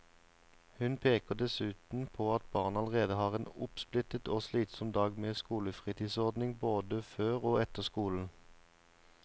Hun peker dessuten på at barna allerede har en oppsplittet og slitsom dag med skolefritidsordning både før og etter skolen.